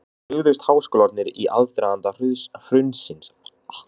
En brugðust háskólarnir í aðdraganda hrunsins?